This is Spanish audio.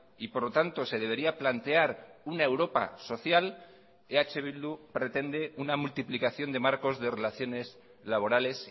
y por lo tanto se debería plantear una europa social eh bildu pretende una multiplicación de marcos de relaciones laborales